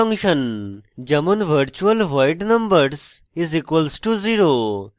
pure virtual function যেমন virtual void numbers = 0;